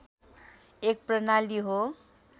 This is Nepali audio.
एक प्रणाली हो